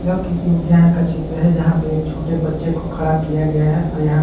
यह किसी उद्यान का चित्र है और जहां पे एक छोटे बच्चे को खड़ा किया गया है और यहाँ--